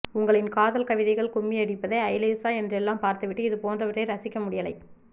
உங்களின் காதல் கவிதைகள் கும்மி அடிப்பது ஐலேசா என்றெல்லாம் பார்த்துவிட்டு இது போன்றவற்றை ரசிக்க முடியலை